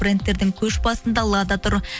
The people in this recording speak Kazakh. брендтердің көш басында лада тұр